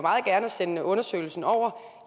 sende undersøgelsen over